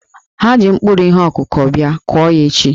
Ha ji mkpụrụ ihe ọkụkụ bia, kụọ ya echi!